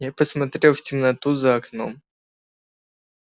я посмотрел в темноту за окном